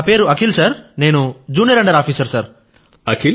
నా పేరు junior under officer Akhil sir